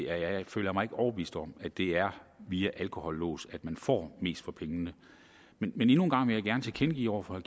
at jeg ikke føler mig overbevist om at det er via alkolåse at vi får mest for pengene men endnu en gang vil jeg gerne tilkendegive over for